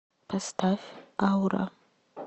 поставь аура